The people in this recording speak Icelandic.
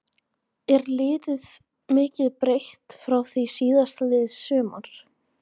Er liðið mikið breytt frá því síðastliðið sumar?